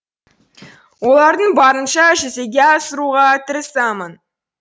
оларды барынша жүзеге асыруға тырысамын